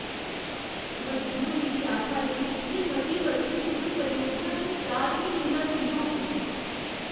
मजदूर मिगी आखा दे न जे मती बरखें मूजब परियोजना च चार म्हीनें दा चिर होग।